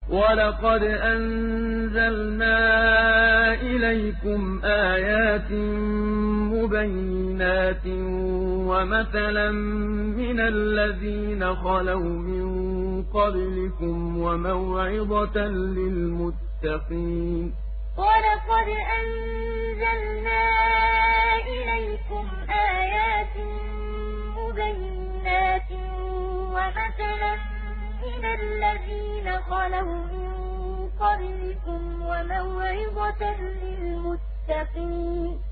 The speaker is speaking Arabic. وَلَقَدْ أَنزَلْنَا إِلَيْكُمْ آيَاتٍ مُّبَيِّنَاتٍ وَمَثَلًا مِّنَ الَّذِينَ خَلَوْا مِن قَبْلِكُمْ وَمَوْعِظَةً لِّلْمُتَّقِينَ وَلَقَدْ أَنزَلْنَا إِلَيْكُمْ آيَاتٍ مُّبَيِّنَاتٍ وَمَثَلًا مِّنَ الَّذِينَ خَلَوْا مِن قَبْلِكُمْ وَمَوْعِظَةً لِّلْمُتَّقِينَ